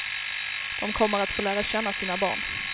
De kommer att få lära känna sina barn.